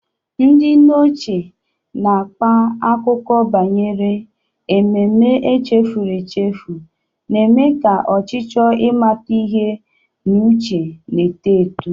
Ndị nne ochie na-akpa akụkọ banyere ememme echefuru echefu, na-eme ka ọchịchọ ịmata ihe n'uche na-eto eto.